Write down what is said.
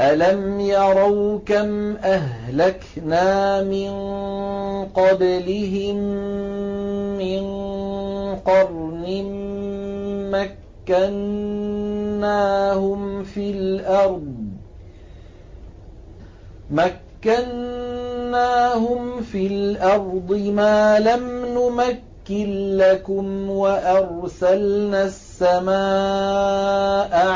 أَلَمْ يَرَوْا كَمْ أَهْلَكْنَا مِن قَبْلِهِم مِّن قَرْنٍ مَّكَّنَّاهُمْ فِي الْأَرْضِ مَا لَمْ نُمَكِّن لَّكُمْ وَأَرْسَلْنَا السَّمَاءَ